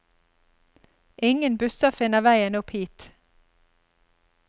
Ingen busser finner veien opp hit.